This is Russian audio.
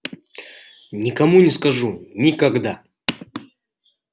никому не скажу никогда